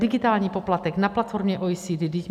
Digitální poplatek na platformě OECD.